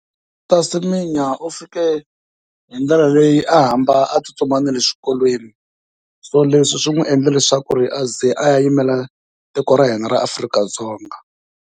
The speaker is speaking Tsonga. Caster Semenya u fike hi ndlela leyi a hamba a tsutsuma na le swikolweni, so leswi swi n'wi endla leswaku a ze a ya yimela tiko ra hina ra Afrika-Dzonga.